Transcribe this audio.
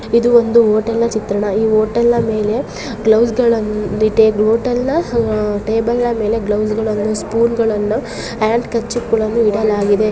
ಇದು ಒಂದು ಹೋಟೆಲ್ ಚಿತ್ರಣ ಈ ಹೋಟೆಲ್ನ ಮೇಲೆ ಗ್ಲೌಸ್ಗಳನ್ನ ಹೋಟೆಲ್ನ ಟೇಬಲ್ನ ಮೇಲೆ ಗ್ಲೌಸ್ಗಳನ್ನ ಸ್ಪೂನ್ಗಳನ್ನ ಹ್ಯಾಂಡ್ಕರ್ಚೀಫ್ಗಳನ್ನ ಇಡಲಾಗಿದೆ.